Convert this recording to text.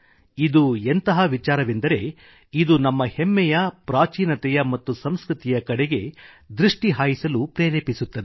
ಇದುಎಂತಹ ವಿಚಾರವೆಂದರೆ ಇದು ನಮ್ಮ ಹೆಮ್ಮೆಯ ಪ್ರಾಚೀನತೆಯ ಮತ್ತು ಸಂಸ್ಕೃತಿಯ ಕಡೆಗೆ ದೃಷ್ಟಿ ಹಾಯಿಸಲು ಪ್ರೇರೇಪಿಸುತ್ತದೆ